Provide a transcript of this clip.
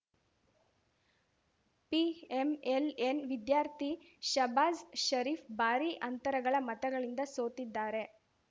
PML-N ಅಭ್ಯರ್ಥಿ ಶಾಬಾಜ್‌ ಷರೀಫ್‌ ಭಾರೀ ಅಂತರಗಳ ಮತಗಳಿಂದ ಸೋತಿದ್ದಾರೆ